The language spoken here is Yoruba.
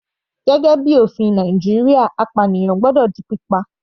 Gẹ́gẹ́ bíi ofin Nàìjíríà apànìyàn gbọ́dọ̀ di pípa.